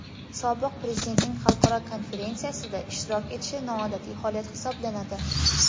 Sobiq Prezidentning xalqaro konferensiyada ishtirok etishi noodatiy holat hisoblanadi.